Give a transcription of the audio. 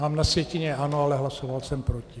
Mám na sjetině ano, ale hlasoval jsem proti.